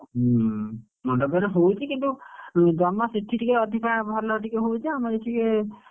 ହୁଁ, ମଣ୍ଡପରେ ହଉଛି କିନ୍ତୁ ଜମା ସେଠି ଟିକେ ଅଧିକା ଭଲ ଟିକେ ହଉଛି ଆମର ଏଠି ଟିକେ,